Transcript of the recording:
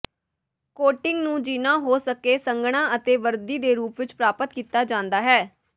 coating ਨੂੰ ਜਿੰਨਾ ਹੋ ਸਕੇ ਸੰਘਣਾ ਅਤੇ ਵਰਦੀ ਦੇ ਰੂਪ ਵਿੱਚ ਪ੍ਰਾਪਤ ਕੀਤਾ ਜਾਂਦਾ ਹੈ